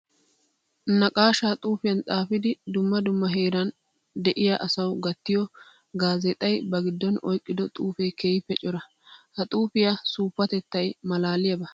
Naqaasha xuufiyan xaafidi dumma dumma heeran de'iya asawu gattiyo gaazexxay ba gidon oyqqiddo xuufe keehippe cora. Ha xuufiya suufatettay malaaliyaba.